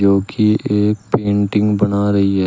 जो कि एक पेंटिंग बना रही है।